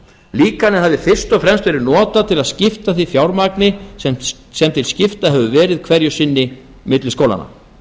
líkanið hafi fyrst og fremst verið notað til að skipta því fjármagni sem til skipta hefur verið hverju sinni milli skólanna